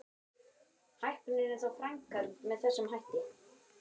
Hækkunin er þá framkvæmd með þessum hætti.